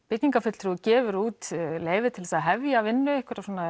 byggingarfulltrúi gefur út leyfi til að hefja vinnu